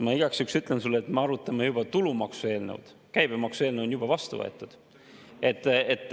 Ma igaks juhuks ütlen sulle, et me arutame tulumaksu eelnõu, käibemaksu eelnõu on juba vastu võetud.